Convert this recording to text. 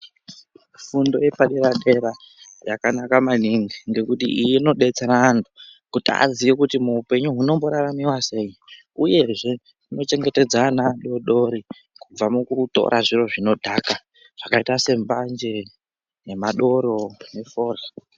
Fundo yepa dera dera yakanaka maningi ngekuti iyi ino detsera antu kuti aziye kuti mu upenyu hunombo raramiwa sei uyezve huno chengetedza ana adodori kubva mukutora zviro zvino dhaka zvakaita se mbanje ne madoro ne forya.